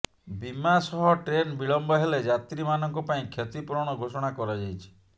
ବୀମା ସହ ଟ୍ରେନ ବିଳମ୍ବ ହେଲେ ଯାତ୍ରୀମାନଙ୍କ ପାଇଁ କ୍ଷତିପୂରଣ ଘୋଷଣା କରାଯାଇଛି